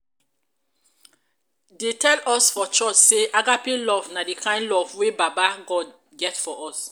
dey tell us for church sey agape love na di kind love wey baba god get for us.